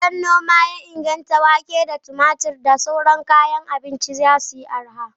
Idan noma ya inganta, wake, tumatur da sauran kayan abinci za su yi arha.